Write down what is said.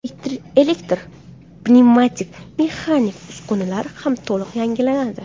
Elektr, pnevmatik va mexanik uskunalar ham to‘liq yangilanadi.